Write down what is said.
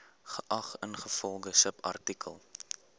geag ingevolge subartikel